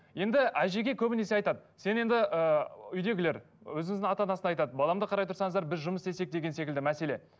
енді әжеге көбінесе айтады сен енді ыыы үйдегілер өзіңіздің ата анасына айтады баламды қарай тұрсаңыздар біз жұмыс істесек деген секілді мәселе